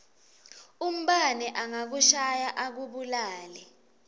umbane angakushaya akubulale